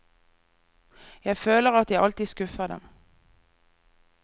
Jeg føler at jeg alltid skuffer dem.